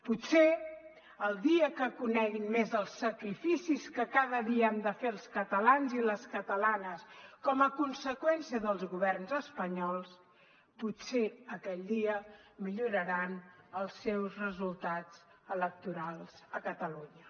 potser el dia que coneguin més els sacrificis que cada dia han de fer els catalans i les catalanes com a conseqüència dels governs espanyols potser aquell dia milloraran els seus resultats electorals a catalunya